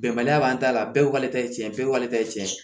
Bɛnbaliya b'an ta la bɛɛ ko k'ale ta ye tiɲɛ ye bɛɛ k'ale ta ye tiɲɛ ye